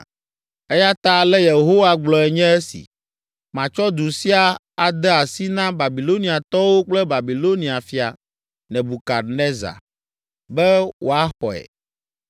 Eya ta ale Yehowa gblɔe nye esi: Matsɔ du sia ade asi na Babiloniatɔwo kple Babilonia fia, Nebukadnezar, be woaxɔe.